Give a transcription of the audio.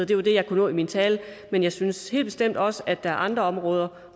det var det jeg kunne nå i min tale men jeg synes helt bestemt også at der er andre områder